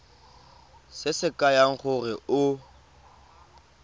se se kaya gore o